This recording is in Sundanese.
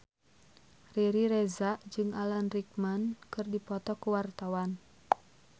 Riri Reza jeung Alan Rickman keur dipoto ku wartawan